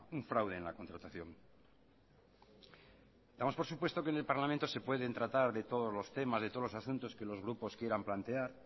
un fraude en la contratación damos por supuesto que en el parlamento se pueden tratar de todos los temas de todos los asuntos que los grupos quieran plantear